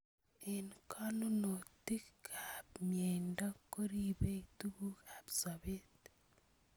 Eng konunotik ab mnyendo keribei tukuk ab soet.